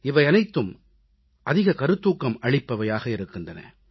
இவையனைத்தும் அதிக கருத்தூக்கம் அளிப்பவையாக இருக்கின்றன